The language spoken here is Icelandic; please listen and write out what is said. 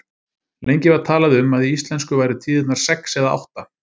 Lengi var talað um að í íslensku væru tíðirnar sex eða átta.